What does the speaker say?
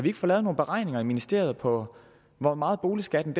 ikke få lavet nogle beregninger i ministeriet på hvor meget boligskatten